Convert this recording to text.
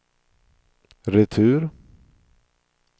retur